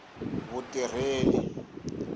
vutirheli